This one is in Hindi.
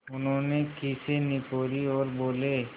उन्होंने खीसें निपोरीं और बोले